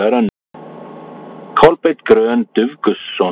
Kolbeinn Grön Dufgusson